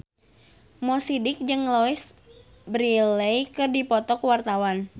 Mo Sidik jeung Louise Brealey keur dipoto ku wartawan